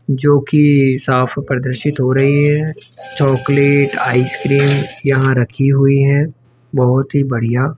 जोकि साफ प्रदर्शित हो रही है चॉकलेट आइसक्रीम यहां रखी हुई है बहोत ही बढ़िया --